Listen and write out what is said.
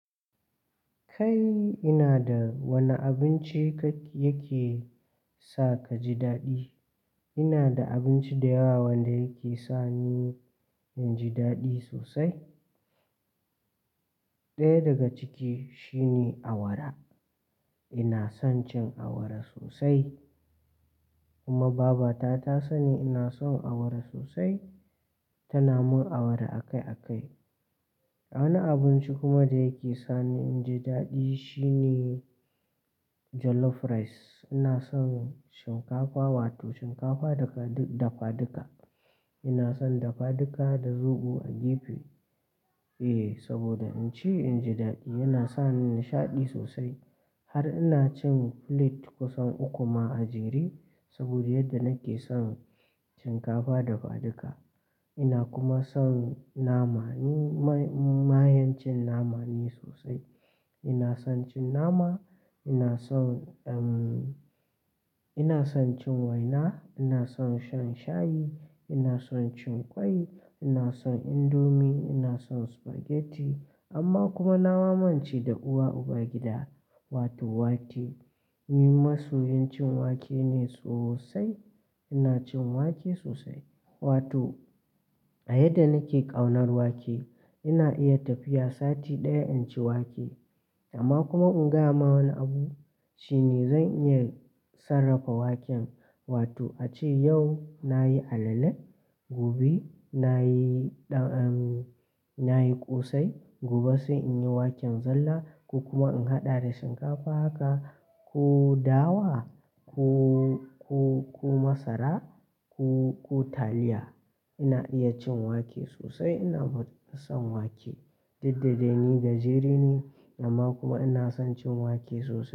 Kai ina da wanne abinci kak yake sa ka ji daɗi? Ina da abinci da yawa wanda yake sa ni in ji daɗi sosai. Ɗaya daga ciki shine awara. Ina son cin awara sosai kuma baba ta ta sani ina son awara sosai tana mun awara akai akai. Wani abinci kuma da yake sa ni in ji daɗi shine jollof rice. Ina son shinkafa, wato shinkafa dafaduka. Ina son dafaduka da zobo a gefe. Eh saboda in ci in ji daɗi yana sa ni nishaɗi sosai har ina cin filet kusan uku ma a jere saboda yadda nake son shinkafa dafaduka. Ina kuma son nama. Ni mayen cin nama ne sosai. Ina son cin nama, ina son, em Ina son cin waina, ina son shan shayi, ina son cin ƙwai, ina son indomie, ina son spaghetti amma kuma nama mance da uba uba gida wato wake. Ni masoyin cin wake ne sosai. Ina cin wake sosai wato a yadda nake ƙaunar wake ina iya tafiya sati ɗaya in ci wake amma kuma in gaya ma wani abu shine zan iya sarrafa waken wato ace yau nayi alale, gobe nayi, em, nayi ƙosai, gobe sai in yi waken zalla ko kuma in haɗa da shinkafa haka ko dawa ko, ko, ko masara ko, ko taliya. Ina iya cin wake sosai. Ina son wake. Did da dai ni gajeri ne amma kuma ina son cin wake sosai.